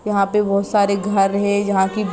यहाँ पर बहुत सारे घर है जहाँ कि--